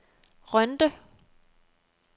Rønde